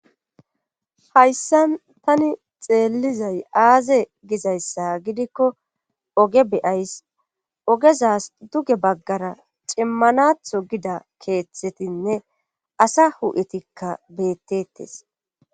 hayssa tani xeellizay aaze gizayssa gidikko oge beyays ogezas duge baggara cimmanatho gida keeththetinne asa hu7etikka beettettes